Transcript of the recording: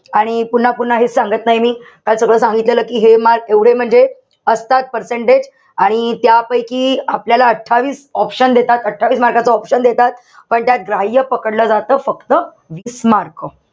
आणि पुन्हा-पुन्हा हेच सांगत नाई मी. काल सगळं सांगितलेलं कि हे marks म्हणजे एवढे सगळे असतात percentage. आणि त्यापैकी आपल्याला अठ्ठावीस option देतात. अठ्ठावीस mark च option देतात. पण त्यात ग्राह्य पकडलं जात फक्त वीस mark.